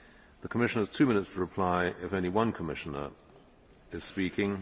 The Commissioner has two minute to reply if only one Commissioner is speaking.